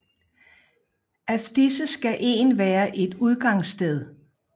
Af disse skal en være et udgangssted